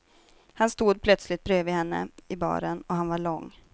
Han stod plötsligt bredvid henne i baren och han var lång.